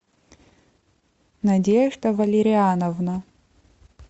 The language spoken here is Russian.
надежда валериановна